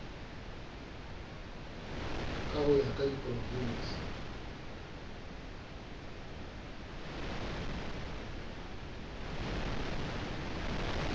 ka ho ya ka diprovinse